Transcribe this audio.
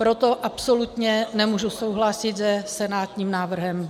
Proto absolutně nemůžu souhlasit se senátním návrhem.